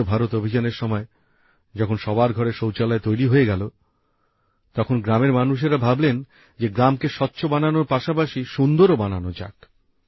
স্বচ্ছ ভারত অভিযানের সময় যখন সবার ঘরে শৌচালয় তৈরি হয়ে গেল তখন গ্রামের মানুষেরা ভাবলেন যে গ্রামকে স্বচ্ছ বাননোর পাশাপাশি সুন্দরও বানানো যাক